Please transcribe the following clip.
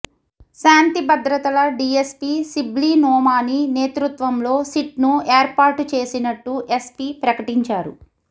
శాంతి భద్రతల డిఎస్పీ శిబ్లినోమాని నేతృత్వంలో సిట్ను ఏర్పాటు చేసినట్టు ఎస్పి ప్రకటించారు